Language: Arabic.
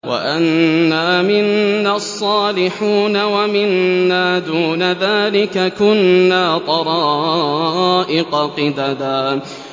وَأَنَّا مِنَّا الصَّالِحُونَ وَمِنَّا دُونَ ذَٰلِكَ ۖ كُنَّا طَرَائِقَ قِدَدًا